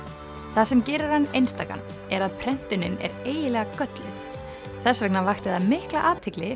það sem gerir hann einstakan er að prentunin er eiginlega gölluð þess vegna vakti það mikla athygli